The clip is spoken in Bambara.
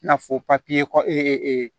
I n'a fɔ papiye kɔ